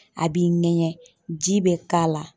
A b'i ŋɛɲɛ, ji bɛ k'a la